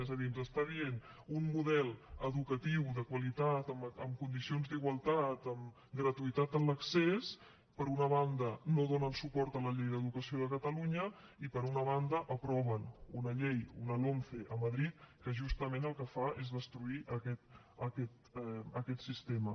és a dir ens està dient un model educatiu de qualitat en condicions d’igualtat amb gratuïtat en l’accés per una banda no donen suport a la llei d’educació de catalunya i per l’altra aproven una llei una lomce a madrid que justament el que fa és destruir aquest sistema